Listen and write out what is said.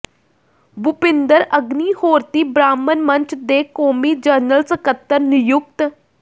ਭੁਪਿੰਦਰ ਅਗਨੀਹੋਰਤੀ ਬ੍ਰਾਹਮਣ ਮੰਚ ਦੇ ਕੌਮੀ ਜਨਰਲ ਸਕੱਤਰ ਨਿਯੁਕਤ